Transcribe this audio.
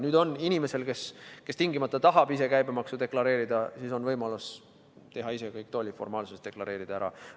Nüüd on inimesel, kes tingimata tahab ise käibemaksu deklareerida, võimalus täita ise kõik tolliformaalsused ja deklareerida see ära.